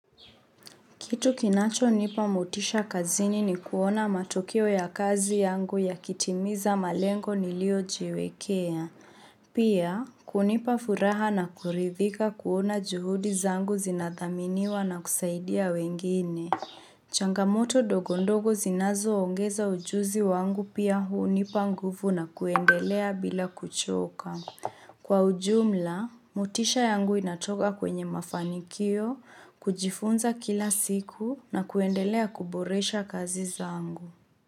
Kitu kinacho nipa mutisha kazini ni kuona matokeo ya kazi yangu yakitimiza malengo niliojiwekea. Pia, kunipa furaha na kuridhika kuona juhudi zangu zinathaminiwa na kusaidia wengine. Changamoto ndogondogo zinazo ongeza ujuzi wangu pia hunipa nguvu na kuendelea bila kuchoka. Kwa ujumla, motisha yangu inatoka kwenye mafanikio, kujifunza kila siku na kuendelea kuboresha kazi zangu.